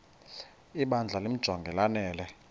ibandla limjonge lanele